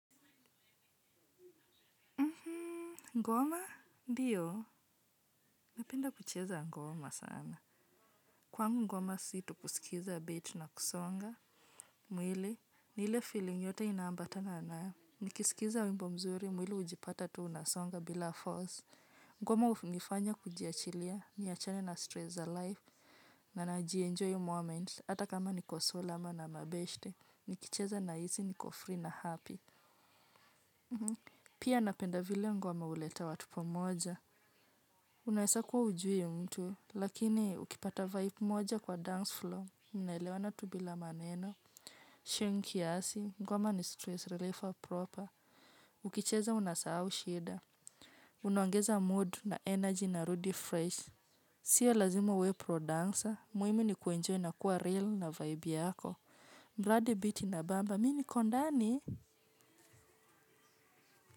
Ngoma? Ndiyo? Napenda kucheza ngoma sana. Kwangu ngoma si tu kusikiza beat na kusonga. Mwili, ni ile feeling yote inaambatana na. Nikisikiza wimbo mzuri, mwili hujipata tu unasonga bila force. Ngoma hunifanya kujiachilia, niachane na stress za life. Na najienjoy moment, hata kama niko solo ama na mabeshte. Nikicheza nahisi, niko free na happy. Pia napenda vile ngoma huleta watu pamoja. Unaeza kuwa hujui mtu lakini ukipata vibe moja kwa dance flow mnaelewana tu bila maneno Sheng kiasi, ngoma ni stress reliever proper. Ukicheza unasahau shida. Unaongeza mood na energy narudi freshi. Sio lazima uwe pro dancer, muhimu ni kuenjoy na kuwa real na vibe yako. Mradi beat inabamba, mimi niko ndani?